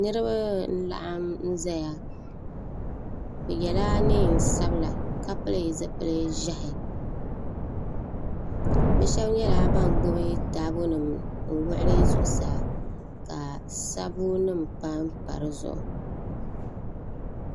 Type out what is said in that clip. niriba n-laɣim n-zaya bɛ yɛla neen sabila ka pili zipil' ʒɛhi bɛ shɛba nyɛla ban gbubi taabonima n-wuɣi li zuɣusaa ka sabbunima pampa di zuɣu